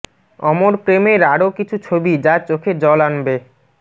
অমর প্রেমের আরও কিছু ছবি যা চোখে জল আনবে